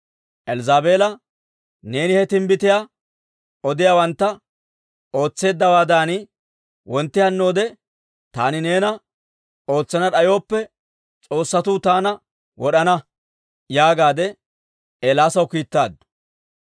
Elzzaabeela, «Neeni he timbbitiyaa odiyaawantta ootseeddawaadan, wontti hannoode taani neena ootsana d'ayooppe, s'oossatuu taana wod'ana» yaagaadde Eelaasaw kiittaaddu.